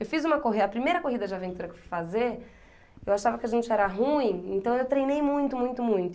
Eu fiz uma corrida, a primeira corrida de aventura que eu fui fazer, eu achava que a gente era ruim, então eu treinei muito, muito, muito.